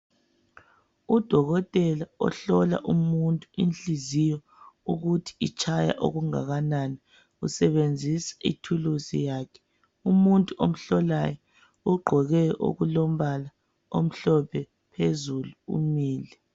Udokotela ohlola umuntu inhliziyo ukuthi itshaya okungakanani, usebenzisa ithulusi yakhe. Umuntu omhlolayo ugqoke okulombala omhlophe phezulu umile.